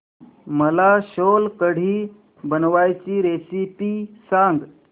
मला सोलकढी बनवायची रेसिपी सांग